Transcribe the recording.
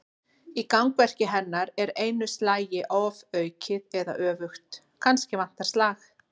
Í gangverki hennar er einu slagi ofaukið eða öfugt: kannski vantar slag.